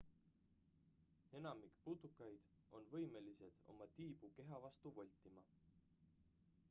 enamik putukaid on võimelised oma tiibu keha vastu voltima